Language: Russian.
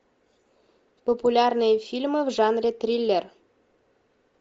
популярные фильмы в жанре триллер